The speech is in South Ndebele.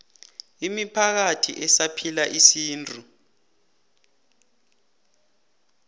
imiphakathi esaphila isintu